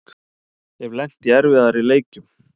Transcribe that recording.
Hef lent í erfiðari leikjum